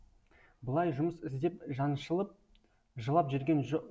былай жұмыс іздеп жаншылып жылап жүрген жоқ